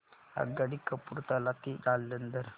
आगगाडी कपूरथला ते जालंधर